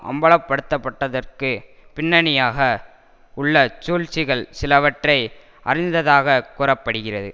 அம்பலப்படுத்தப்பட்டதற்கு பின்னணியாக உள்ள சூழ்ச்சிகள் சிலவற்றை அறிந்ததாகக் கூற படுகிறது